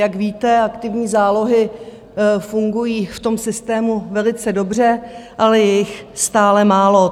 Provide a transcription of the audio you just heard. Jak víte, aktivní zálohy fungují v tom systému velice dobře, ale je jich stále málo.